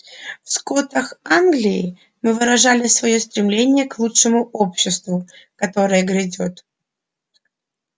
в скотах англии мы выражали своё стремление к лучшему обществу которое грядёт